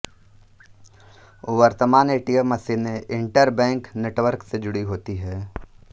वर्तमान एटीएम मशीनें interbank network से जुड़ी होती हैं